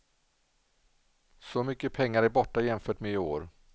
Så mycket pengar är borta jämfört med i år.